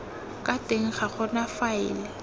ka teng ga gona faele